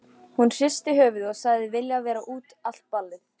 Hún hristi höfuðið og sagðist vilja vera út allt ballið.